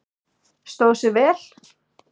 Stóð sig vel?